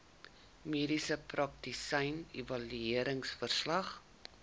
mediese praktisyn evalueringsverslag